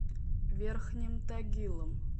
верхним тагилом